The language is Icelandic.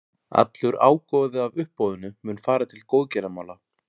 Allur ágóði af uppboðinu mun fara til góðgerðamála.